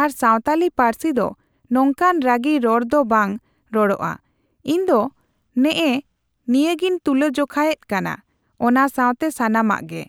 ᱟᱨ ᱥᱟᱣᱛᱟᱞᱤ ᱯᱟᱨᱥᱤ ᱫᱚ ᱱᱚᱝᱠᱟᱱ ᱨᱟᱜᱤ ᱨᱚᱲ ᱫᱚ ᱵᱟᱝ ᱨᱚᱲᱚᱜᱼᱟ ᱾ ᱤᱧ ᱫᱚ ᱱᱮᱜᱼᱮ ᱱᱤᱭᱟᱹᱜᱮᱧ ᱛᱩᱞᱟᱹ ᱡᱚᱠᱷᱟᱭᱮᱜ ᱠᱟᱱᱟ, ᱚᱱᱟ ᱥᱟᱝᱛᱜᱮ ᱥᱟᱱᱟᱢᱟᱜ ᱜᱮ ᱾